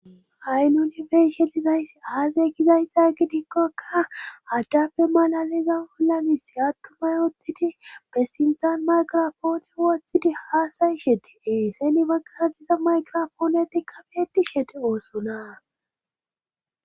Haysan nunibeyshe dinaysi aadey gizayssa gidikkokka addafe malaliza wollanis attumay oottidi besintan mayqirofoone woththidi haasayi shedeee seni makara diza mayqirofoonetikkafeeti shede oosonaa.